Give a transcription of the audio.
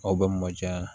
Aw bɛ mɔ diya